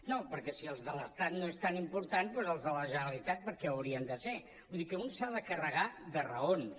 no perquè si els de l’estat no són tan importants doncs els de la generalitat per què ho haurien de ser vull dir que un s’ha de carregar de raons